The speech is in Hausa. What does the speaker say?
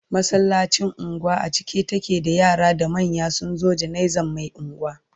masallacin unguwar a cike take da yara da manya sunzo janaizan Mai unguwa